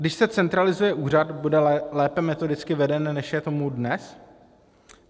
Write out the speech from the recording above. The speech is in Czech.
Když se centralizuje úřad, bude lépe metodicky veden, než je tomu dnes?